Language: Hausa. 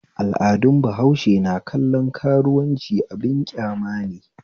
Al'adun bahaushe na kallon karuwanci abin kyamane